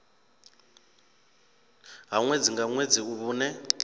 ha ṅwedzi nga ṅwedzi vhune